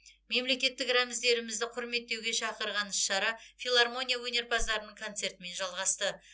мемлекеттік рәміздерімізді құрметтеуге шақырған іс шара филармония өнерпаздарының концертімен жалғасты